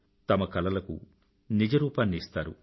తమ కలలకు నిజరూపాన్ని ఇస్తారు